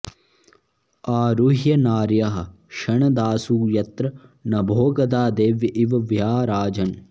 आरुह्य नार्यः क्षणदासु यत्र नभोगता देव्य इव व्याराजन्